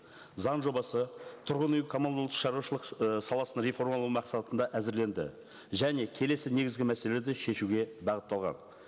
заң жобасы тұрғын үй коммуналды шаруашылық ііі саласын реформалау мақсатында әзірленді және келесі негізгі мәселелерді шешеуге бағытталған